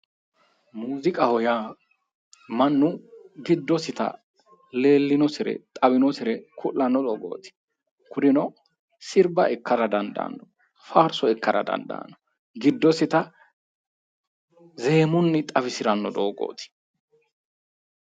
Muuziqaho yaa mannu giddosita leellinosire xawinosire ku'lanno doogooti kurino sirba ikkara dandaanno faarso ikkara dandaanno, giddosita zeemunni xawisiranno doogooti.